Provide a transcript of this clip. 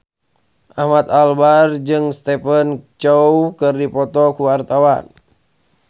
Ahmad Albar jeung Stephen Chow keur dipoto ku wartawan